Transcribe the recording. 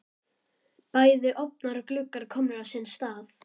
Bæði ofnar og gluggar komnir á sinn stað.